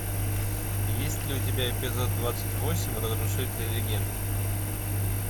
есть ли у тебя эпизод двадцать восемь разрушители легенд